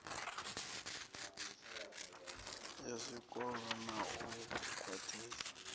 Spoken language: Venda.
ya zwikolo na u khwaṱhisa